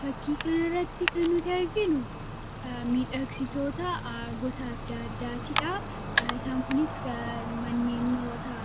fakkiikan irratti kan nuti arginu miidhaksitoota gosaaddaaddaatiidha isaan kunis manneennota